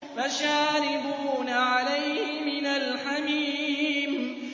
فَشَارِبُونَ عَلَيْهِ مِنَ الْحَمِيمِ